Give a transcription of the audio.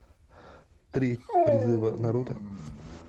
три призыва наруто